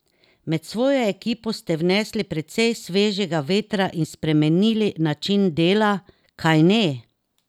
Med svojo ekipo ste vnesli precej svežega vetra in spremenili način dela, kajne?